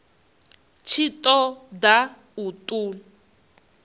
tshi ṱo ḓa u ṱun